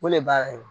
O de b'a